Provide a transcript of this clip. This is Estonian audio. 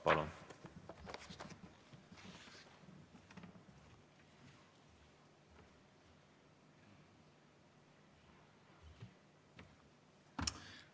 Palun!